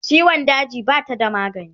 ciwon daji Bata da magani